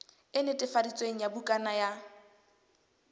e netefaditsweng ya bukana ya